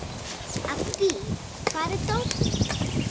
Addý, hvar er dótið mitt?